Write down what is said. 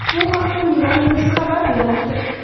Bu haqda Milan News xabar bermoqda .